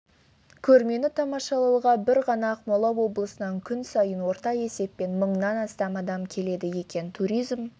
көрмені тамашалауға бір ғана ақмола облысынан күн сайын орта есеппен мыңнан астам адам келеді екен туризм